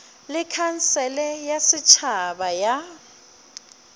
le khansele ya setšhaba ya